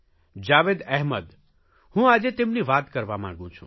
જાવેદ અહેમદ હું આજે તેમની વાત કરવા માંગું છું